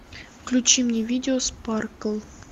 включи мне видео спаркл